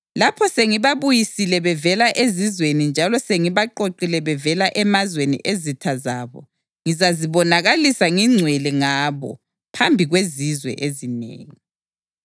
Lapho sengibabuyisile bevela ezizweni njalo sengibaqoqile bevela emazweni ezitha zabo, ngizazibonakalisa ngingcwele ngabo phambi kwezizwe ezinengi.